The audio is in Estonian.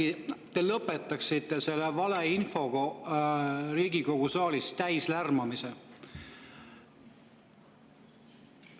Äkki te lõpetaksite selle Riigikogu saali valeinfoga täis lärmamise?